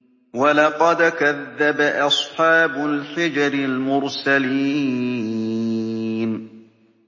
وَلَقَدْ كَذَّبَ أَصْحَابُ الْحِجْرِ الْمُرْسَلِينَ